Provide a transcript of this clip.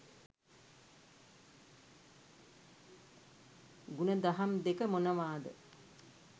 ගුණදහම් දෙක මොනවාද?